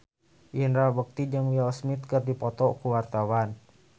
Indra Bekti jeung Will Smith keur dipoto ku wartawan